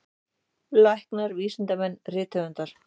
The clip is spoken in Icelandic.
Læknar, vísindamenn, rithöfundar.